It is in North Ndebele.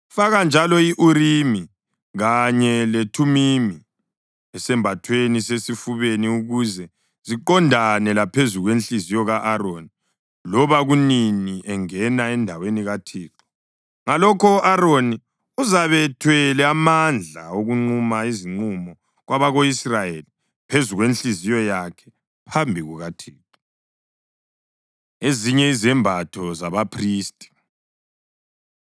Faka njalo i-Urimi kanye leThumimi esambathweni sesifubeni, ukuze ziqondane laphezu kwenhliziyo ka-Aroni loba kunini engena endaweni kaThixo. Ngalokho u-Aroni uzabe ethwele amandla okunquma izinqumo kwabako-Israyeli phezu kwenhliziyo yakhe phambi kukaThixo.” Ezinye Izembatho ZabaPhristi